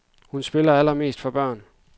Hun spiller allermest for børn.